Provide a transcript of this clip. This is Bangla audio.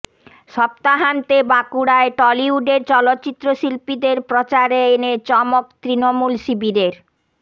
সপ্তাহান্তে বাঁকুড়ায় টলিউডের চলচ্চিত্র শিল্পীদের প্রচারে এনে চমক তৃণমূল শিবিরের